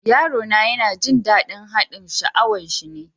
Yaro na yana jin dadin haɗin sha'awan shi ne.